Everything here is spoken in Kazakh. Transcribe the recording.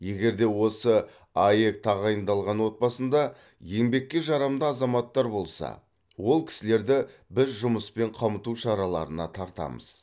егер де осы аәк тағайындалған отбасында еңбекке жарамды азаматтар болса ол кісілерді біз жұмыспен қамту шараларына тартамыз